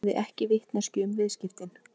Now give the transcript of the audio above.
Hafði ekki vitneskju um viðskiptin